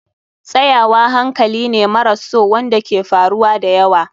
Tsayawa hankali ne maras so wanda ke faruwa da yawa.